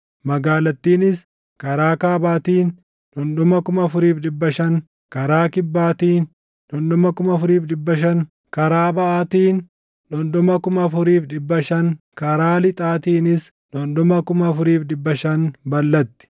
magaalattiinis karaa kaabaatiin dhundhuma 4,500, karaa kibbaatiin dhundhuma 4,500, karaa baʼaatiin dhundhuma 4,500 karaa lixaatiinis dhundhuma 4,500 balʼatti.